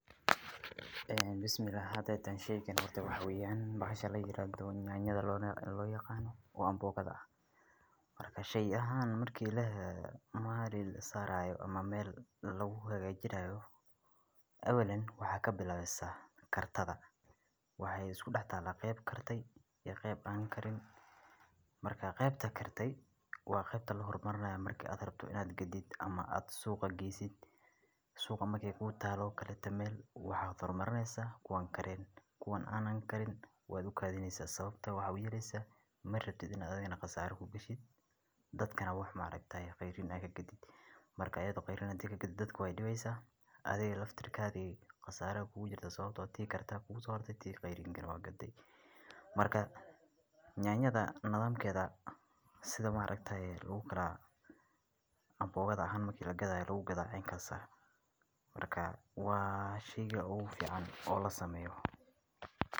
Miraha macaan waa nimco dabiici ah oo Ilaahay ugu deeqay dadka, kuwaas oo aan ka maarmin nolosha maalmeedkeena. Miraha sida mooska, tufaaxa, canabka, cambeha iyo babaayga ayaa ah kuwo hodan ku ah nafaqooyin kala duwan sida fitamiinada, macdanta iyo sokorta dabiiciga ah. Moosku waa miro si weyn loogu cuno dunida oo dhan, wuxuuna bixiyaa tamar degdeg ah, taasoo ka dhigaysa mid aad ugu fiican dadka cayaaraha sameeya ama caruurta. Tufaaxa, oo ah miro aad u laami ah, waxaa lagu yaqaanaa inuu ka caawiyo jirka nadiifinta sunta iyo hagaajinta dheefshiidka.